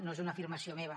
no és una afir mació meva